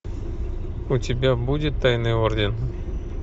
у тебя будет тайный орден